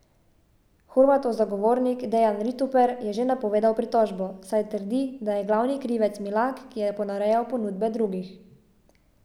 Horvatov zagovornik Dejan Rituper je že napovedal pritožbo, saj trdi, da je glavni krivec Milak, ki je ponarejal ponudbe drugih.